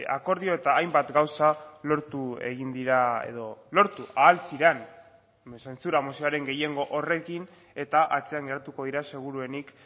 akordio eta hainbat gauza lortu egin dira edo lortu ahal ziren zentsura mozioaren gehiengo horrekin eta atzean geratuko dira seguruenik